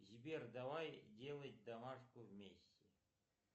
сбер давай делать домашку вместе